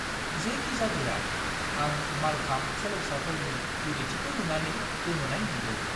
जेखिजादोआ, आं मालखाम्ब सोलोंसाफोरनि गुरैथिखौ नुनानै गोमोनाय मोन्दों!